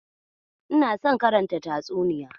In son karanta tatsuniya.